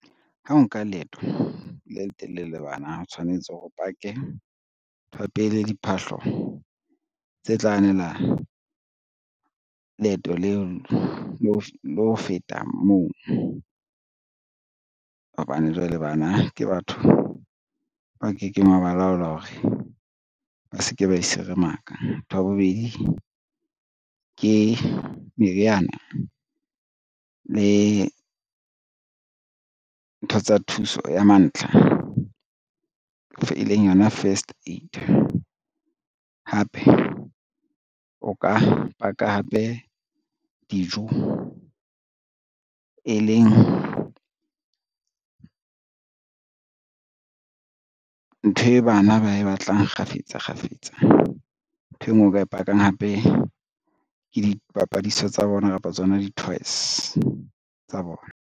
Ha o nka leeto le letelele le bana o tshwanetse hore o pake nthwa pele, diphahlo tse tla anelang leeto leo le ho feta moo, hobane jwale bana ke batho ba kekeng wa balaola hore ba se ke ba iseremaka. Ntho ya bobedi, ke meriana le ntho tsa thuso ya mantlha e leng yona first aid. Hape o ka paka hape dijo, e leng ntho e bana ba e batlang kgafetsa kgafetsa. Nthwe e ngwe o ka e pakang hape ke dipapadisa tsa bona kapa tsona di-toys tsa bona.